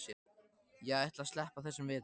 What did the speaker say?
Ég ætla að sleppa þessum vetri.